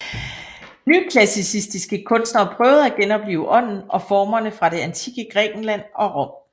Nyklassicistiske kunstnere prøvede at genoplive ånden og formerne fra det antikke Grækenland og Rom